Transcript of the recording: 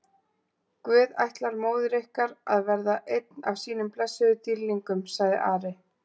Guð ætlar móður ykkar að verða einn af sínum blessuðum dýrlingum, sagði Ari.